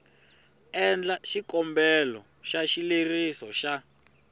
endla xikombelo xa xileriso xa